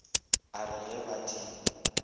a re ga ba di